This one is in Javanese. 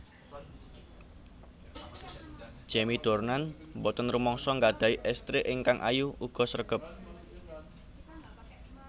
Jamie Dornan mboten rumangsa nggadhahi estri ingkang ayu uga sregep